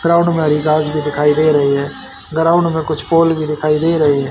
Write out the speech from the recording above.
Ground में हरी घास भी दिखाई दे रही है ग्राउंड में कुछ फूल भी दिखाई दे रही है।